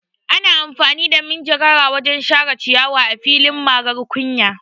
Ana amfani da manjakara wajan share ciyawa a fili marar kunya